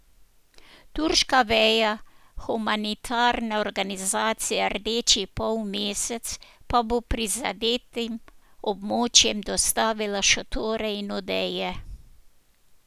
Turška veja humanitarne organizacije Rdeči polmesec pa bo prizadetim območjem dostavila šotore in odeje.